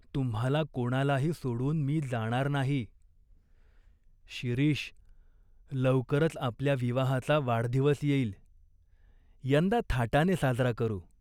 तुम्हाला कोणालाही सोडून मी जाणार नाही." "शिरीष, लवकरच आपल्या विवाहाचा वाढदिवस येईल." "यंदा थाटाने साजरा करू.